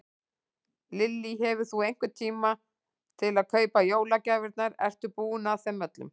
Lillý: Hefur þú einhvern tíma til að kaupa jólagjafirnar, ertu búinn að þeim öllum?